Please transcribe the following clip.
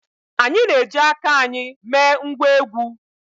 Anyị na-eji aka anyị mee ngwá egwú